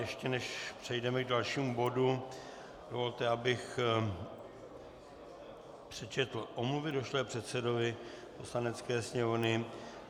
Ještě než přejdeme k dalšímu bodu, dovolte, abych přečetl omluvy došlé předsedovi Poslanecké sněmovny.